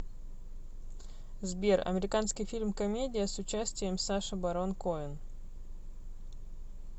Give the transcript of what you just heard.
сбер американский фильм комедия с участием саша барон коэн